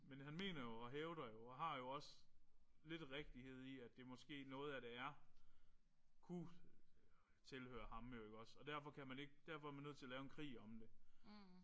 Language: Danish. Men han mener jo og hævder jo og har jo også lidt rigtighed i at det måske noget af det er kunne tilhøre ham jo iggås og derfor kan man ikke derfor er man nødt til at lave en krig om det